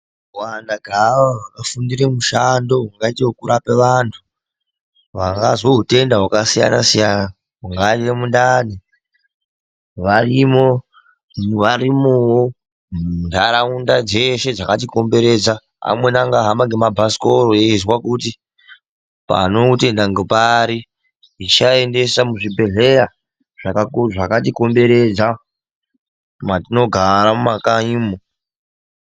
Kuwanda keavo vakafundira mushando ungaite wekurape vandhu vangazwe utenda hwakasiyana siyana ungaite mundani varimowo muntaraunda dzeshe dzakati komberedza. Amweni angahamba ngemabhasikoro eizwa kuti panoutenda ngepari vechiaendesa muzvibhedhleya zvakatikomberedza matinogara mumakanyimo.